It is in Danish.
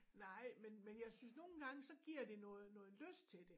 Nej men men jeg synes nogle gange så giver de noget noget lyst til det